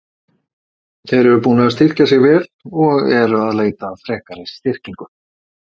Þeir eru búnir að styrkja sig vel og eru að leita að frekari styrkingu.